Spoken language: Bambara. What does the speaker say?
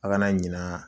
A kana ɲina